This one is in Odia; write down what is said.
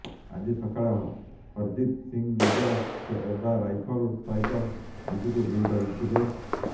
ଆଜି ସକାଳେ ହରଜିତ ସିଂ ନିଜ ସେବା ରାଇଫଲ ସହିତ ନିଜକୁ ଗୁଳି କରିଥିଲେ